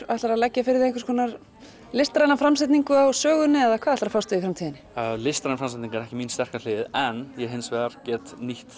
ætlarðu að leggja fyrir þig einhvers konar listræna framsetningu á sögunni eða hvað ætlarðu að fást við í framtíðinni listræn framsetning er ekki mín sterka hlið en ég hins vegar get nýtt